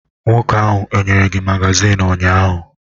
Nwoke ahụ o nyere gị magazin ụnyahụ?